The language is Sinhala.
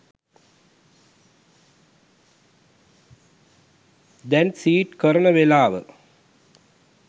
දැන් සීඩ් කරන වෙලාව